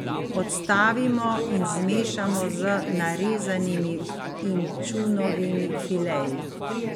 Odstavimo in zmešamo z narezanimi inčunovimi fileji.